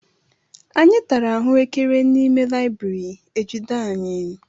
Anyị tara ahuekere n'ime layibiri ejide anyị.